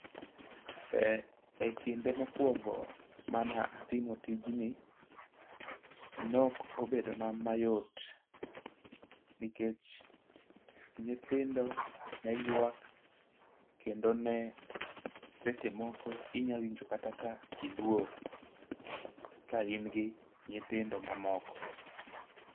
E kinde mokwongo mana timo tijni nok obedo na mayot nikech nyithindo ne ywak kendo, ne seche moko inya winjo kata ka iluor ka in gi nyithindo mamoko.